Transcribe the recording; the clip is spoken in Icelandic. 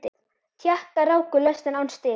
Tékkar ráku lestina án stiga.